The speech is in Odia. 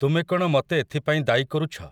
ତୁମେ କ'ଣ ମତେ ଏଥିପାଇଁ ଦାୟୀ କରୁଛ ।